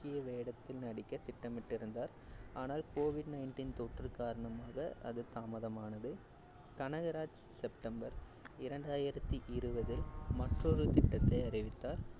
முக்கிய வேடத்தில் நடிக்க திட்டமிட்டிருந்தார், ஆனால் அது covid nineteen தொற்று காரணமாக அது தாமதமானது கனகராஜ் செப்டம்பர் இரண்டாயிரத்தி இருவதில் மற்றொரு திட்டத்தை அறிவித்தார்,